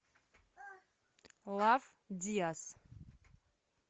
лав диас